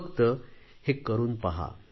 फक्त हे करून पहा